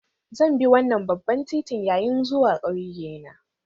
Zan bi wannan babban titin yayin zuwa ƙauye na